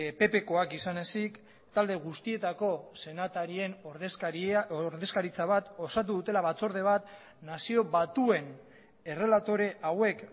ppkoak izan ezik talde guztietako senatarien ordezkaritza bat osatu dutela batzorde bat nazio batuen errelatore hauek